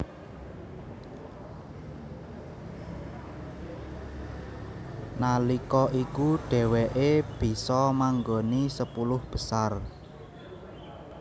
Nalika iku dheweké bisa manggoni sepuluh besar